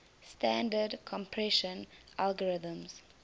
standard compression algorithms